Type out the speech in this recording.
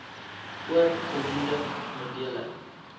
oor voldoende middele